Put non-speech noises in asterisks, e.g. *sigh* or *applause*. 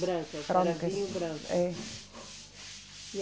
Brancas. Brancas. *unintelligible* Brancas. É